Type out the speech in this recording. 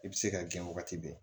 I bɛ se ka gɛn wagati bɛɛ